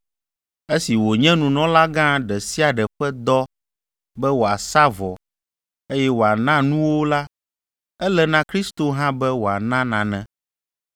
Esi wònye nunɔlagã ɖe sia ɖe ƒe dɔ be wòasa vɔ, eye wòana nuwo la, ele na Kristo hã be wòana nane.